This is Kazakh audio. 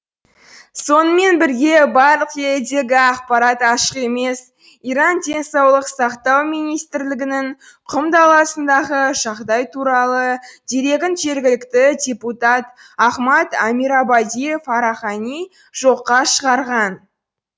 сонымен бірге барлық елдегі ақпарат ашық емес иран денсаулық сақтау министрлігінің құм даласындағы жағдай туралы дерегін жергілікті депутат ахмад амирабади фарахани жоққа шығарған